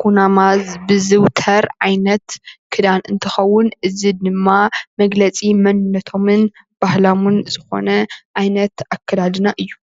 ኩናማ ዝዝዉተር ዓይነት ክዳን እንትከዉን እዚ ድማ መግለፂ መንነቶምን ባህሎምን ዝኮነ ዓይነት ኣከዳድና እዩ ።